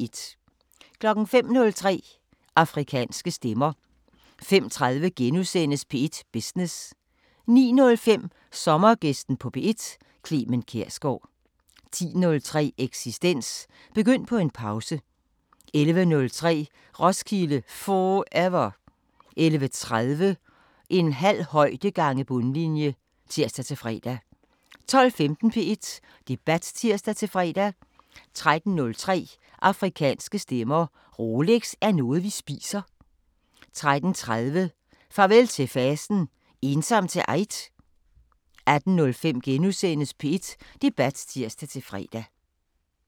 05:03: Afrikanske Stemmer 05:30: P1 Business * 09:05: Sommergæsten på P1: Clement Kjersgaard 10:03: Eksistens: Begynd på en pause 11:03: Roskilde 4ever 11:30: En halv højde gange bundlinje (tir-fre) 12:15: P1 Debat (tir-fre) 13:03: Afrikanske Stemmer: Rolex er noget vi spiser 13:30: Farvel til fasten: Ensom til eid? 18:05: P1 Debat *(tir-fre)